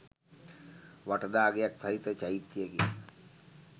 වටදාගෙයක් සහිත චෛත්‍යයකි